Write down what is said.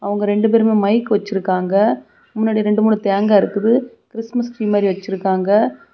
அவங்க ரெண்டு பேரும் மைக் வச்சிருக்காங்க முன்னாடி ரெண்டு மூணு தேங்காய் இருக்குது கிறிஸ்மஸ்ரீ த்ரீ மாதிரி வச்சிருக்காங்க.